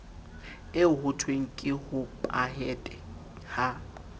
eo hothweng ke hopahete ha